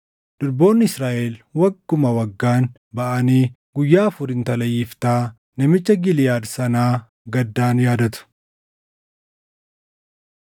durboonni Israaʼel wagguma waggaan baʼanii guyyaa afur intala Yiftaa namicha Giliʼaad sanaa gaddaan yaadatu.